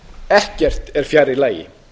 ekkert er fjær lagi